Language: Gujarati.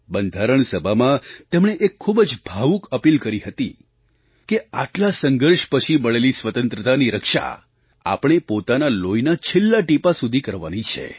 બંધારણ સભામાં તેમણે એક ખૂબ જ ભાવુક અપીલ કરી હતી કે આટલા સંઘર્ષ પછી મળેલી સ્વતંત્રતાની રક્ષા આપણે પોતાના લોહીના છેલ્લા ટીપા સુધી કરવાની છે